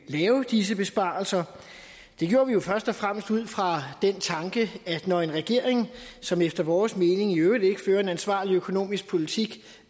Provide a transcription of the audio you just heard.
lave disse besparelser det gjorde vi jo først og fremmest ud fra den tanke at når en regering som efter vores mening i øvrigt ikke fører en ansvarlig økonomisk politik